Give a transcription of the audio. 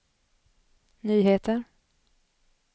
nyheter